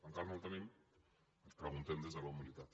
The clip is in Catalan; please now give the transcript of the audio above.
encara no el tenim preguntem des de la humilitat